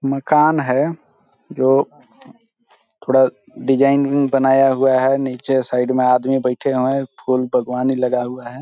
मकान है जो थोड़ा डिजाइनिंग बनाया हुआ है नीचे साइड में आदमी बैठे हुए हैं फूल भगवानी लगा हुआ है।